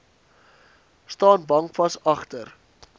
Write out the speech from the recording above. staan bankvas agter